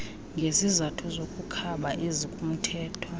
ngezizathu zokukhaba ezikumthetho